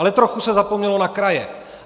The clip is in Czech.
Ale trochu se zapomnělo na kraje.